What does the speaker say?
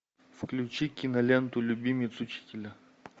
включи киноленту любимец учителя